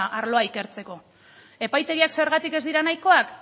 arloa ikertzeko epaitegiak zergatik ez diren nahikoak